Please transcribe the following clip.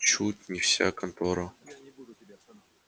чуть не вся контора собралась